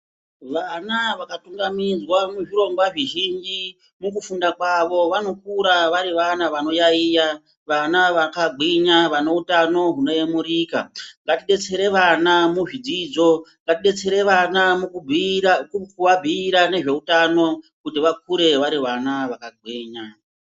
Vana vakatungamidzwa muzvirongwa zvizhinji mukufunda kwavo vanokura vari vana vanoyaiya vana vakagwinya vainoutano hunoyemurika , ngatidetsere vana muzvidzidzo , ngatidetsere vana mukubhiira mukuabhiira nezveutano kuti vakure vari vana vakagwinya.